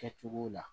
Kɛcogo la